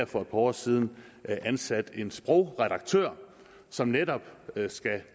for et par år siden ansat en sprogredaktør som netop skal